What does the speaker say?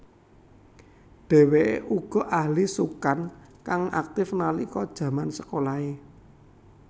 Dheweke uga ahli sukan kang aktif nalika jaman sekolahe